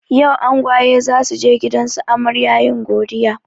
Yau angwaye zasuje gidansu amarya yin godiya